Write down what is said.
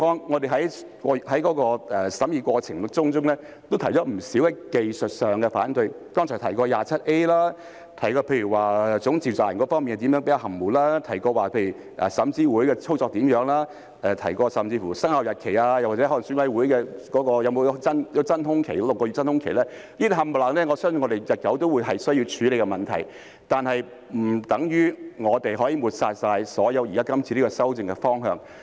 我們在審議過程中也提出了不少技術上的反對，例如剛才提到的第 27A 條、總召集人方面較為含糊，也提到候選人資格審查委員會的操作，甚至提到生效日期或選委會的真空期等，以上全部我相信也是日後需要處理的問題，但並不等於我們可以全部抹煞今次修訂的方向。